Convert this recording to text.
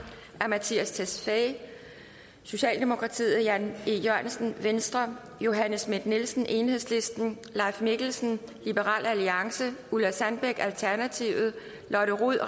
af mattias tesfaye jan e jørgensen johanne schmidt nielsen leif mikkelsen ulla sandbæk lotte rod